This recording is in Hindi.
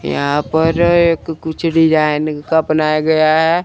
यहां पर एक कुछ डिजाइन का बनाया गया है।